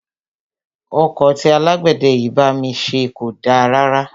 Ọkọ́ tí alágbẹ̀dẹ yìí bá mi ṣe kò da rárá.